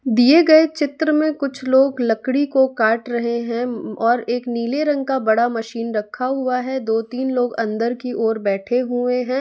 दिए गए चित्र में कुछ लोग लकड़ी को काट रहे हैं और एक नीले रंग का बड़ा मशीन रखा हुआ है दो तीन लोग अंदर की ओर बैठे हुए हैं।